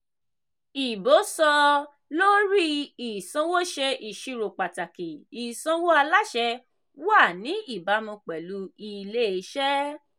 ìbò sọ-lórí-ìsanwó ṣe ìṣirò pàtàkì ìsanwó aláṣẹ wà ní ìbámu pẹ̀lú ilé-iṣẹ́.